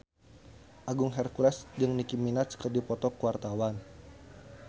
Agung Hercules jeung Nicky Minaj keur dipoto ku wartawan